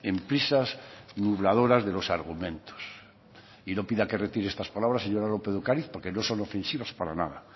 en prisas burladoras de los argumentos y no pida que retire estas palabras señora lópez de ocariz porque no son ofensivas para nada